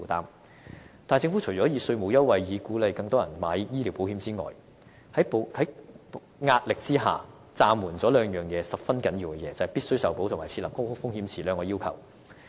可是，政府除了以稅務優惠鼓勵更多人購買醫療保險外，在壓力之下，政府便暫緩了兩件十分重要的事情，即"必須受保"及"設立高風險池"這兩項要求。